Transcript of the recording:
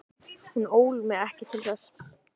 Hún ól mig ekki til þess.